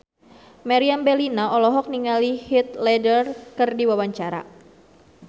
Meriam Bellina olohok ningali Heath Ledger keur diwawancara